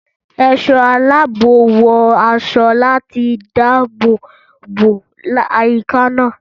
Ẹ̀ṣọ́ aláàbò wọ aṣọ láti dáàbò bo àyíká náà.